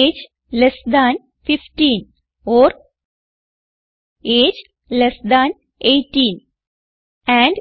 age less than 15 or age less than 18 and